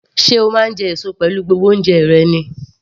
Sé o máa ń jẹ èso pẹ̀lú gbogbo oúnjẹ rẹ ni?